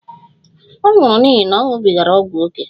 Ọ nwụrụ n'ihi na ọ ṅụbigara ọgwụ ókè